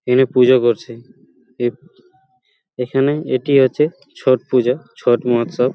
এখানে পূজা করছে এপ এখানে এটি হচ্ছে ছট পুজোছট মহোৎসব